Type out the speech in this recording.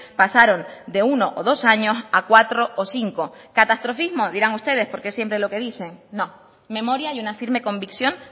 pasaron de uno o dos años a cuatro o cinco catastrofismo dirán ustedes porque siempre es lo que dicen no memoria y una firme convicción